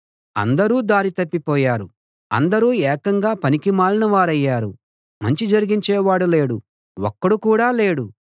అందరూ దారి తప్పిపోయారు అందరూ ఏకంగా పనికిమాలినవారయ్యారు మంచి జరిగించేవాడు లేడు ఒక్కడు కూడా లేడు